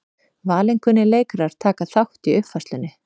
Valinkunnir leikarar taka þátt í uppfærslunni